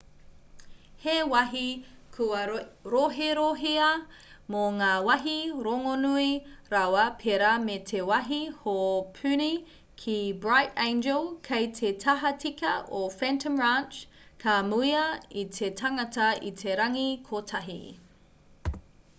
he wāhi kua roherohea mō ngā wāhi rongonui rawa pērā me te wāhi hōpuni ki bright angel kei te tahatika o phantom ranch ka mūia e te tangata i te rangi kotahi